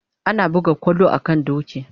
Ana buga kwallo a kan doki